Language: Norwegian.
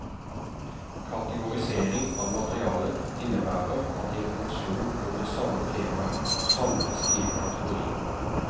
Kategorisering av materialet innebærer at informasjon om det samme temaet samles i en kategori.